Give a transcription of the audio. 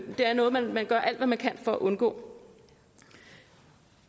det er noget man man gør alt hvad man kan for at undgå